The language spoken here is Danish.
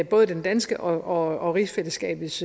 både den danske og rigsfællesskabets